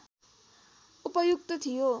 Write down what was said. उपयुक्त थियो